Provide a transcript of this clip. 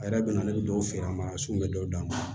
A yɛrɛ bɛ na ne bɛ dɔw feere a ma sugu bɛ dɔw d'a ma